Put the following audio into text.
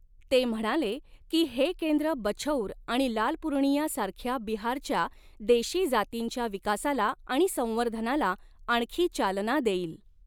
ते म्हणाले की, हे केंद्र बछौर आणि लाल पूर्णिया सारख्या बिहारच्या देशी जातींच्या विकासाला आणि संवर्धनाला आणखी चालना देईल.